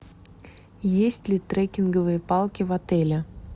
есть ли трекинговые палки в отеле